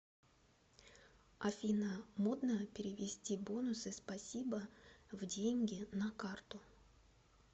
афина модно перевести бонусы спасибо в деньги на карту